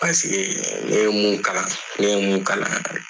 ne ye mun kalan ne mun ye kalan